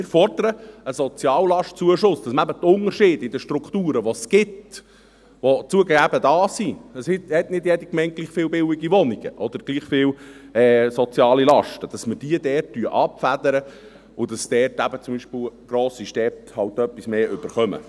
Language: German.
Wir fordern einen Soziallastenzuschuss, sodass man eben die Unterschiede in den Strukturen, die es gibt, die zugegeben da sind – es hat nicht jede Gemeinde gleich viel Wohnungen oder gleich viele soziale Lasten – abfedert und zum Beispiel eben grosse Städte etwas mehr erhalten.